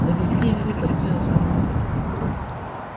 довезли илью почти до самого дома